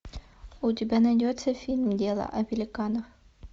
у тебя найдется фильм дело о великанах